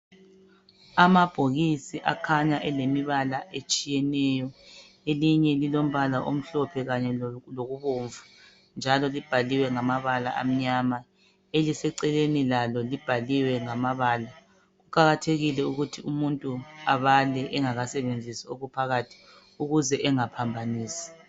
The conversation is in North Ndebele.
Amabhokisi akhanya elemibala etshiyeneyo. Elinye lilombala omhlophe kanye lokubomvu njalo libhalwe ngamabala amnyama. Eliseceleni lalo libhaliwe ngamabala. Kuqakathekile ukuthi umuntu abale engakasebenzisi okuphakathi ukuze engaphambanisi.